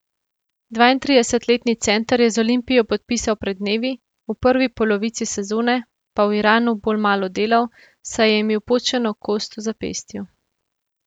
Dvaintridesetletni center je z Olimpijo podpisal pred dnevi, v prvi polovici sezone pa v Iranu bolj malo delal, saj je imel počeno kost v zapestju.